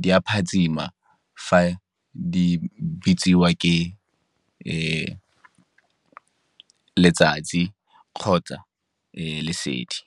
di a phatsima, fa di betsiwa ke letsatsi kgotsa lesedi.